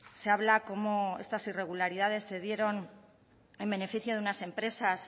se habla cómo estas irregularidades se dieron en beneficio de unas empresas